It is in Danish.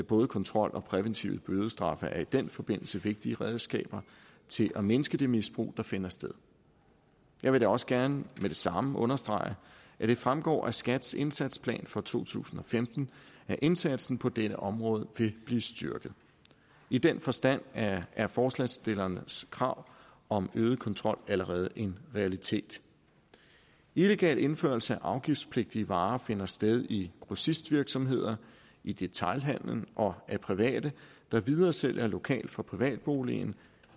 både kontrol og præventive bødestraffe er i den forbindelse vigtige redskaber til at mindske det misbrug der finder sted jeg vil da også gerne med det samme understrege at det fremgår af skats indsatsplan for to tusind og femten at indsatsen på dette område vil blive styrket i den forstand er er forslagsstillernes krav om øget kontrol allerede en realitet illegal indførelse af afgiftspligtige varer finder sted i grossistvirksomheder i detailhandelen og af private der videresælger lokalt fra privatboligen